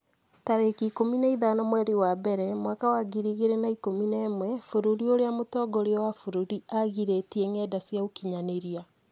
tarĩki ikũmi na ithano mweri wa mbere mwaka wa ngiri igĩrĩ na ikũmi na ĩmwe Bũrũri ũrĩa mũtongoria wa bũrũri aagirĩtie ngenda cia ũkinyanĩria